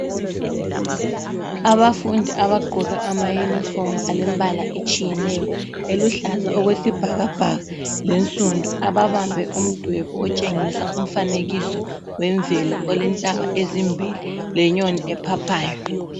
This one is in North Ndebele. Abafundi abagqoka amayunifomu alembala etshiyeneyo eluhlaza okwesibhakabhaka lensundu ababambe umdwebo otshengisa umfanekiso wemvelo olentaba ezimbili lenyoni ephaphayo.